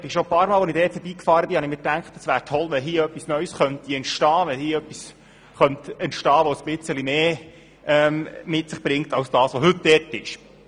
Ich dachte schon ein paar Mal beim Vorbeifahren, dass es toll wäre, wenn dort etwas Neues entstehen könnte, etwas, dass ein bisschen mehr hergibt als das, was heute dort ist.